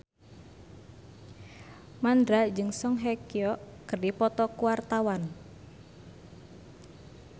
Mandra jeung Song Hye Kyo keur dipoto ku wartawan